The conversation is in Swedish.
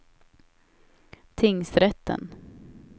tingsrätten